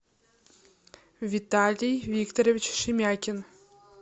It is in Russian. виталий викторович шемякин